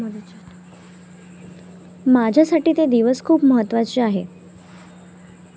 माझ्यासाठी ते दिवस खूप महत्त्वाचे आहेत.